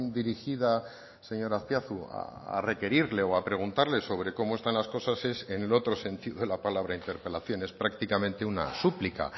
dirigida señor azpiazu a requerirle o a preguntarle sobre cómo están las cosas es en el otro sentido de la palabra interpelación es prácticamente una súplica